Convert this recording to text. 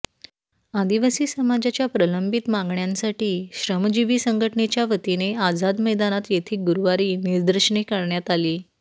आदिवासी समाजाच्या प्रलंबित मागण्यांसाठी श्रमजीवी संघटनेच्या वतीने आझाद मैदानात येथे गुरुवारी निदर्शने करण्यात आली